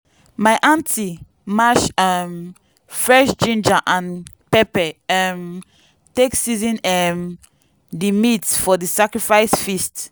my aunty mash um fresh ginger and pepper um take season um di meat for di sacrifice feast.